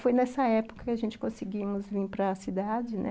Foi nessa época que a gente conseguiu vir para a cidade, né